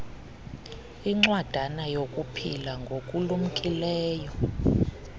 incwadana yokuphila ngokulumkileyo